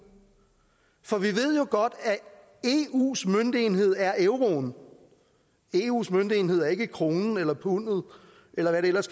for vi at eus møntenhed er euroen eus møntenhed ikke kronen eller pundet eller hvad det ellers